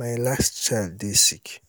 my last child dey sick